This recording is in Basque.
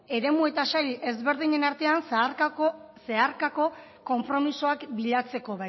eremu eta sail ezberdinen artean zeharkako konpromisoak bilatzeko